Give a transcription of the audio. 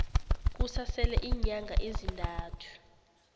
kusasele iinyanga ezintathu